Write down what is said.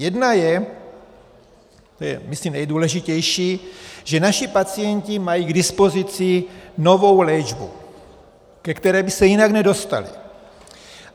Jedna je, ta je myslím nejdůležitější, že naši pacienti mají k dispozici novou léčbu, ke které by se jinak nedostali.